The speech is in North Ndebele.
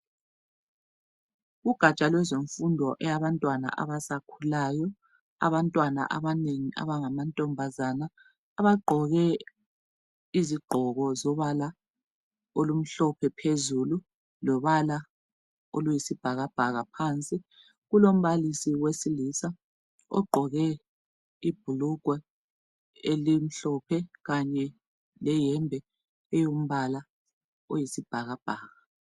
Ugatsha lwezemfundo eyabantwana abasakhulayo, abantwana abanengi abangamantombazana abagqoke izigqoko zombala omhlophe phezulu lombala oyisibhakabhaka phansi. Kulombalisi wesilisa ogqoke ibhulugwe elimhlophe kanye leyembe eyombala oyisibhakabhaka.